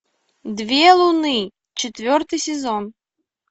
две луны четвертый сезон